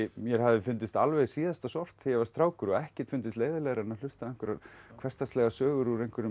mér hafði fundist alveg síðasta sort þegar ég var strákur og ekkert fundist leiðinlegra en að hlusta á einhverjar hversdagslegar sögur úr einhverjum